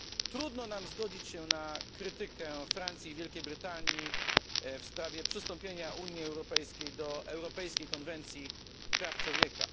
Trudno nam zgodzić się z krytyką Francji i Wielkiej Brytanii w sprawie przystąpienia Unii Europejskiej do Europejskiej konwencji praw człowieka.